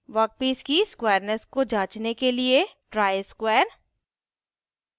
workpiece की squareness को जांचने के लिए ट्राइ स्क्वायर